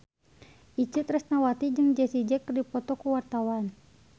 Itje Tresnawati jeung Jessie J keur dipoto ku wartawan